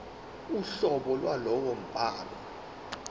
uhlobo lwalowo mbhalo